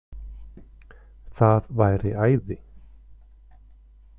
Það væri æði